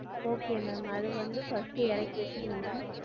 Okay ma'am அத வந்து first எறக்கி வச்சுருங்க ma'am